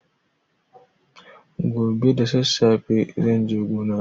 Gobe da sassafe zan je gona.